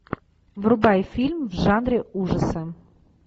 врубай фильм в жанре ужасы